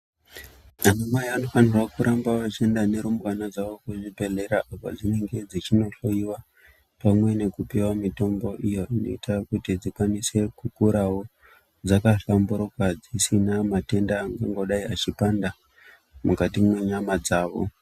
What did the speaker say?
Ana Mai vanofanirwa kuramba veienda nerumbwana dzavo kuzvibhehlera kwadzinenge dzichinohloiwa pamwe nekupiwa mutombo iyo inoita kuti dzikwanise kukurawo dzakahlamburuka dzisina matenda angadai echipanda mukati nenyama dzawo.